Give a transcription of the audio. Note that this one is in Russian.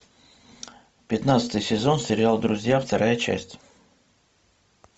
пятнадцатый сезон сериал друзья вторая часть